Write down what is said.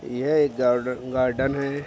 यह एक garden - garden है।